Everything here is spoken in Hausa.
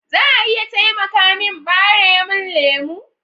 Za a iya taimaka min ɓaremin lemu?